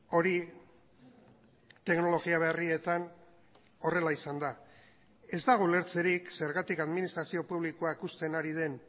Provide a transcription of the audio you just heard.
hori teknologia berrietan horrela izan da ez dago ulertzerik zergatik administrazio publikoak uzten ari den